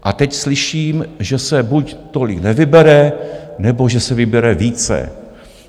A teď slyším, že se buď tolik nevybere, nebo že se vybere více.